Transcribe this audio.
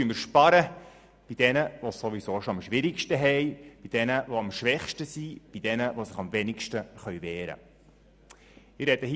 Jetzt sparen wir also bei denjenigen, die es ohnehin schon am schwierigsten haben, bei den Schwächsten, bei denjenigen, die sich am schlechtesten zur Wehr setzen können.